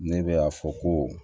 Ne bɛ a fɔ ko